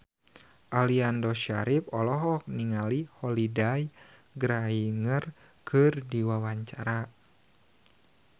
Aliando Syarif olohok ningali Holliday Grainger keur diwawancara